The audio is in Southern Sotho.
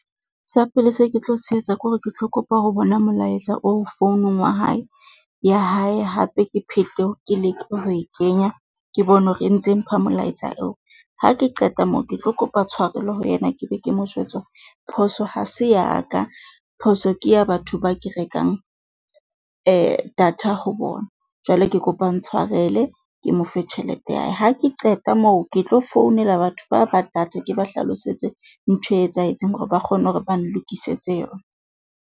Sa pele se ke tlo se etsa kore, ke tlo kopa ho bona molaetsa oo founong wa hae ya hae, hape ke phethe ke leke ho e kenya ke bone hore e ntse mpha molaetsa eo. Ha ke qeta moo ke tlo kopa tshwarelo ho yena ke be ke mo jwetse hore phoso ha se ya ka. Phoso ke ya batho ba ke rekang data ho bona. Jwale ke kopa a ntshwarele, ke mo fe tjhelete ya hae, Ha ke qeta moo, ke tlo founela batho ba ba data ke ba hlalosetse ntho e etsahetseng hore ba kgone hore ba lokisetse yona.